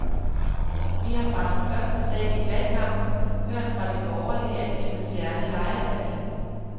Vi har fra den første dag i valgkampen hørt fra de borgerlige, at de vil fjerne lejeværdien.